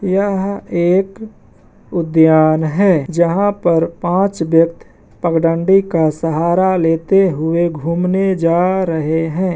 यह एक उद्यान है जहा पर पाँच व्यक्त पगडंडी का सहारा लेते हुए घूमने जा रहे हैं।